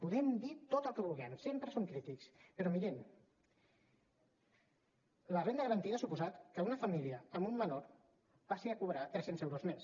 podem dir tot el que vulguem sempre som crítics però mirin la renda garantida ha suposat que una família amb un menor passi a cobrar tres cents euros mes